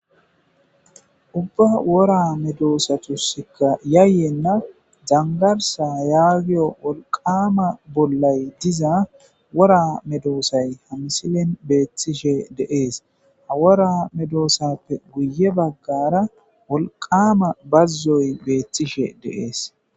Ubba wora medossatas yayeena danggarsa giiya wolqqama bollay diiza wora medossay ha missilen bettishe de'ess ha wora medossape guye baggara wolqqama bazoy bettishe de'es.